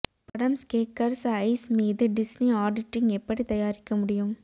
படம் ஸ்கேக்கர்ஸ் ஐஸ் மீது டிஸ்னி ஆடிட்டிங் எப்படி தயாரிக்க முடியும்